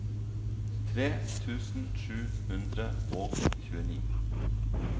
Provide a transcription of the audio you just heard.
tre tusen sju hundre og tjueni